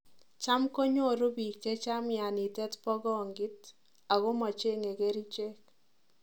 Cham konyoru piik chechang mianitet bo kongit ago macheng'e kerichek